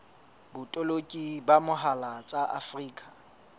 botoloki ka mohala tsa afrika